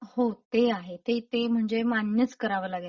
हो ते आहे. ते ते म्हणजे मान्यच करावं लागेल.